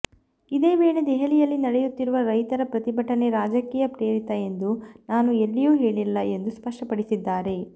ಇದೇ ವೇಳೆ ದೆಹಲಿಯಲ್ಲಿ ನಡೆಯುತ್ತಿರುವ ರೈತರ ಪ್ರತಿಭಟನೆ ರಾಜಕೀಯ ಪ್ರೇರಿತ ಎಂದು ನಾನು ಎಲ್ಲಿಯೂ ಹೇಳಿಲ್ಲ ಎಂದು ಸ್ಪಷ್ಟಪಡಿಸಿದ್ದಾರೆ